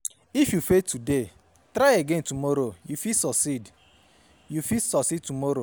If you fail today try again tomorrow yo fit succeed yo fit succeed tomorrow